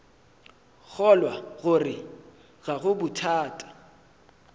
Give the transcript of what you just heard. kgolwa gore ga go bothata